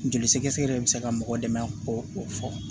Joli sɛgɛsɛgɛ de bi se ka mɔgɔ dɛmɛ k'o o fɔ